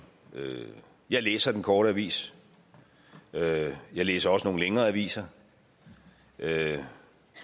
jeg læser den korte avis jeg læser også nogle længere aviser jeg